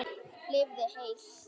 Lifið heil!